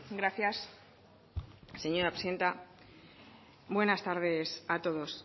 gracias señora presidenta buenas tardes a todos